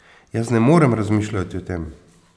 Jaz ne morem razmišljati o tem.